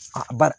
A ba